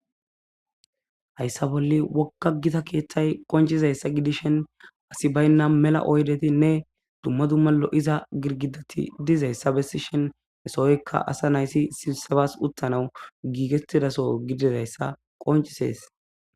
Hayssa bolli wogga Gita keethay qonccizayssa gidishin asi baynna mela oydetinne dumma dumma lo7iza gidgiddati dizayssa bessishin hesohoykka asanayti sibsebas uttanaw giigettida soo gididayssa qonccisees.